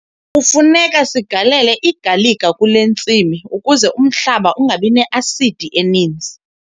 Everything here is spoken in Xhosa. Kufuneka sigalele igalika kule ntsimi ukuze umhlaba ungabi ne-asidi eninzi.